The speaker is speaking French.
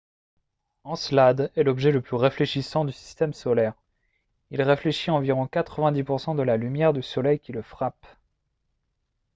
encelade est l'objet le plus réfléchissant du système solaire. il réfléchit environ 90 % de la lumière du soleil qui le frappe